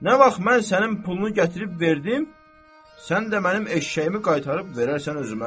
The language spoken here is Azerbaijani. Nə vaxt mən sənin pulunu gətirib verdim, sən də mənim eşşəyimi qaytarıb verərsən özümə.